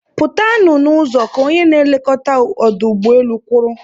Pụtanụ n'ụzọ! Ka onye nlekọta ọdụ ụgbọelu kwuru